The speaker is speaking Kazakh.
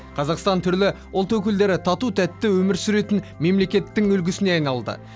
қазақстан түрлі ұлт өкілдері тату тәтті өмір сүретін мемлекеттің үлгісіне айналды